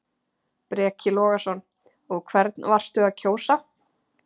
Breki Logason: Og hvernig varstu að kjósa?